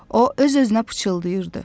O öz-özünə pıçıldayırdı.